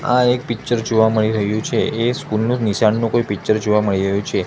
આ એક પિક્ચર જોવા મળી રહ્યુ છે એ સ્કૂલ નું નિશાનનું કોઈ પિક્ચર જોવા મળી રહ્યુ છે.